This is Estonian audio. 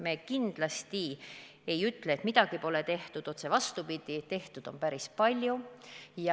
Me kindlasti ei ütle, et midagi pole tehtud, otse vastupidi, tehtud on päris palju.